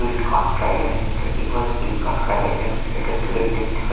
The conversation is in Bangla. Bilkot private limited Bilkot private limited একটা গেট দেখতে পা --